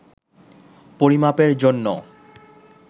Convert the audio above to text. পরিমাপের জন্য